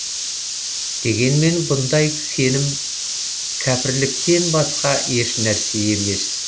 дегенмен бұндай сенім кәпірліктен басқа ешнәрсе емес